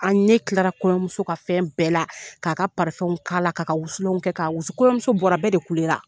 An ne tilara kɔɲɔmuso ka fɛn bɛɛ la k'a ka la k'a ka wusulan kɛ k'a wusu kɔɲɔmuso bɔra bɛɛ de kule la